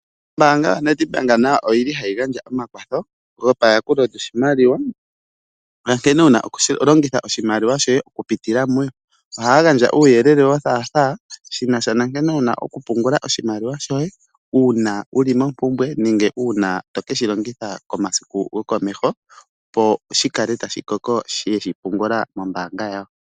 Ombaanga yaNedbank nayo oyili hayi gandja omakwatho gopayakulo lyoshimaliwa onkene owuna okulongitha oshimaliwa shoye okupitila muyo .ohaya gandja uuyelele wothaatha shinasha nankene wuna oku pungula oshimaliwa shoye uuna wuli mompumbwe nenge uuna tokeshi londitha komasiku gokomeho opo shikale tashi koko shi yeshi pungula mombaanga yawo.